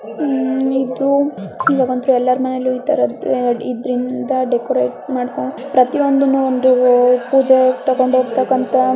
ಈ ತರ ಯೆಲ್ಲಾರ ಮನೆಲು ನೋಡಬೋಡಹು ಡೆಕೋರಟ್ ಮಡ್ಡಕ್ಕ ಬಳಿಸುತರೆ.